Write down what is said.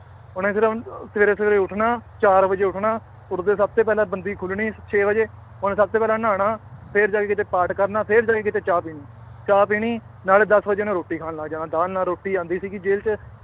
ਉਹਨੇ ਸਿਰਫ਼ ਸਵੇਰੇ ਸਵੇਰੇ ਉੱਠਣਾ ਚਾਰ ਵਜੇ ਉੱਠਣਾ, ਉੱਠਦੇ ਸਭ ਤੇ ਪਹਿਲਾਂ ਬੰਦੀ ਖੁੱਲਣੀ ਛੇ ਵਜੇ ਉਹਨੇ ਸਭ ਤੋਂ ਪਹਿਲਾਂ ਨਹਾਉਣਾ ਫਿਰ ਜਾ ਕੇ ਕਿਤੇ ਪਾਠ ਕਰਨਾ ਫਿਰ ਜਾ ਕੇ ਕਿਤੇ ਚਾਹ ਪੀਣੀ, ਚਾਹ ਪੀਣੀ ਨਾਲੇ ਦਸ ਵਜੇ ਉਹਨੇ ਰੋਟੀ ਖਾਣ ਲੱਗ ਜਾਣਾ ਦਾਲ ਨਾਲ ਰੋਟੀ ਆਉਂਦੀ ਸੀਗੀ ਜੇਲ੍ਹ ਚ